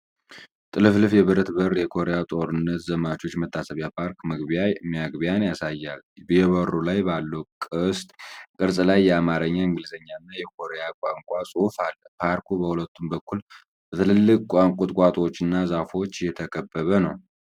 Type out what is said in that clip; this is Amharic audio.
ጥልፍልፍ የብረት በር የኮሪያ ጦርነት ዘማቾች መታሰቢያ ፓርክ መግቢያን ያሳያል። የበሩ ላይ ባለው ቅስት ቅርጽ ላይ የአማርኛ፣ የእንግሊዝኛ እና የኮሪያ ቋንቋ ጽሑፍ አለ። ፓርኩ በሁለቱም በኩል በትላልቅ ቁጥቋጦዎችና ዛፎች የተከበበ ነው።